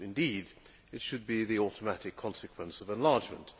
Indeed, it should be the automatic consequence of enlargement.